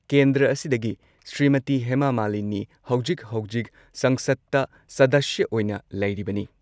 ꯀꯦꯟꯗ꯭꯭ꯔ ꯑꯁꯤꯗꯒꯤ ꯁ꯭ꯔꯤꯃꯇꯤ ꯍꯦꯃꯥ ꯃꯥꯂꯤꯅꯤ ꯍꯧꯖꯤꯛ ꯍꯧꯖꯤꯛ ꯁꯪꯁꯗꯇ ꯁꯗꯁ꯭ꯌ ꯑꯣꯏꯅ ꯂꯩꯔꯤꯕꯅꯤ ꯫